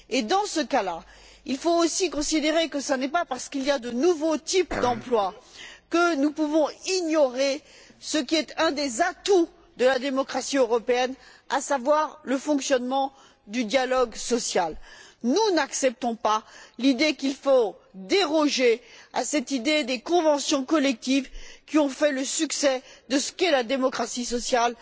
Dans ce cas, il faut aussi considérer que l'existence de nouveaux types d'emplois ne doit pas nous faire ignorer ce qui est un des atouts de la démocratie européenne, à savoir le fonctionnement du dialogue social. Nous n'acceptons pas qu'il faille déroger à cette idée des conventions collectives qui ont fait le succès de ce qu'est la démocratie sociale